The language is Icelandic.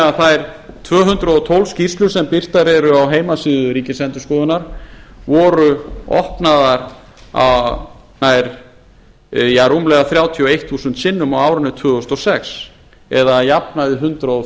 að þær tvö hundruð og tólf skýrslur sem birtar eru á heimasíðu ríkisendurskoðunar voru opnaðar rúmlega þrjátíu og eitt þúsund sinnum á árinu tvö þúsund og sex eða að jafnaði hundrað